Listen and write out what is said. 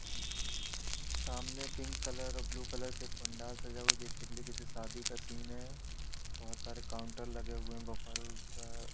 सामने pink colour और blue colour से पंडाल सजा हुआ बेसिकली किसी शादी का सीन है बहोत सारे काउंटर लगे हुए है बफर का--